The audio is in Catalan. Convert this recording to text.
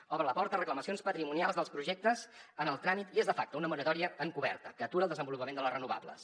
obre la porta a reclamacions patrimonials dels projectes en el tràmit i és de facto una moratòria encoberta que atura el desenvolupament de les renovables